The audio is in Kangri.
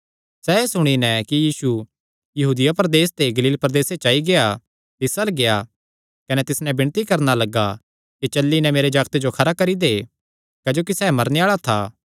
सैह़ एह़ सुणी नैं कि यीशु यहूदिया प्रदेस ते गलील प्रदेसे च आई गेआ तिस अल्ल गेआ कने तिस नैं विणती करणा लग्गा कि चली नैं मेरे जागते जो खरा करी दे क्जोकि सैह़ मरने आल़ा था